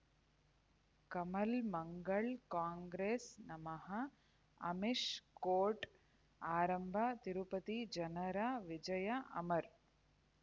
ಕಮಲ್ ಮಂಗಳ್ ಕಾಂಗ್ರೆಸ್ ನಮಃ ಅಮಿಷ್ ಕೋರ್ಟ್ ಆರಂಭ ತಿರುಪತಿ ಜನರ ವಿಜಯ ಅಮರ್